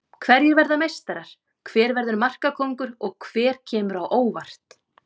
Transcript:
Hverjir verða meistarar, hver verður markakóngur og hver kemur á óvart?